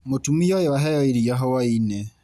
Mũtumia ũyũ aheo iria hwainĩ.